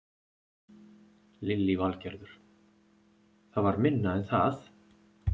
Lillý Valgerður: Það var minna en það?